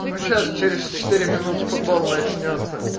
ну сейчас через четыре минуты футбол начнётся